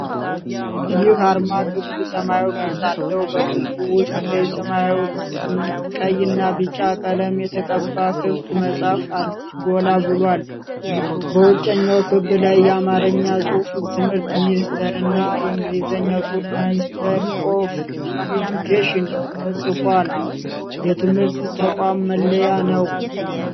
ይህ አርማ ክብ ሰማያዊ ቅርጽ አለው። በክቡ ውስጥ በሰማያዊ፣ ቀይና ቢጫ ቀለም የተቀባ ክፍት መጽሐፍ ጎላ ብሏል። በውጭኛው ክብ ላይ የአማርኛ ጽሑፍ 'ትምህርት ሚኒስቴር' እና የእንግሊዝኛ ጽሑፍ 'ሚኒስተር ኦፍ ኢዱኬሽን' ተጽፈዋል። የትምህርት ተቋም መለያ ነው።